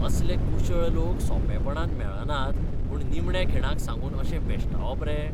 असले कुशळ लोक सोंपेपणान मेळनात म्हूण निमण्या खिणाक सांगून अशें भेश्टावप रे?